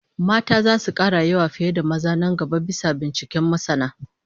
Mata zasu kara yawa fiye da maza nan gaba, bisa binciken masana